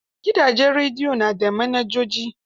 Gidajen redio na da manajoji.